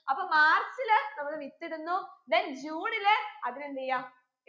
അപ്പൊ മാർച്ചിൽ നമ്മൾ വിത്തിടുന്നു then ജൂണിൽ അതിനെ എന്തെയ്യാ